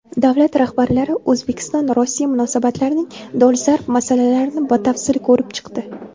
Davlat rahbarlari O‘zbekistonRossiya munosabatlarining dolzarb masalalarini batafsil ko‘rib chiqdi.